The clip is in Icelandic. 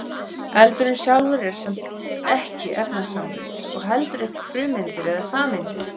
eldurinn sjálfur er samt ekki efnasambönd og heldur ekki frumeindir eða sameindir